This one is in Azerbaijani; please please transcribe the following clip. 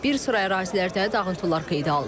Bir sıra ərazilərdə dağıntılar qeydə alınıb.